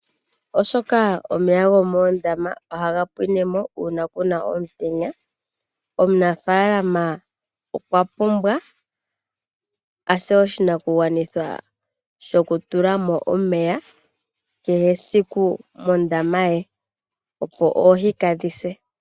Oshoka omeya gomoondama ohaga pwinemo uuna kuna omutenya, omunafalama okwapumbwa ase oshinakugwanithwa a tule mo omeya kehe esiku mondama ye opo oohi kaadhi se.